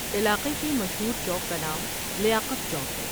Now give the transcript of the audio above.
علاقے کے مشہور چوک کا نام لیاقت چوک ہے ۔